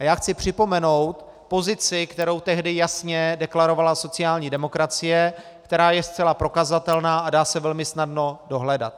A já chci připomenout pozici, kterou tehdy jasně deklarovala sociální demokracie, která je zcela prokazatelná a dá se velmi snadno dohledat.